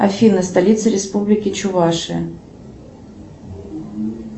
афина столица республики чувашия